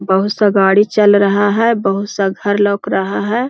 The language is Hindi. बहुत सा गाड़ी चल रहा है बहुत सा घर लोक रहा है।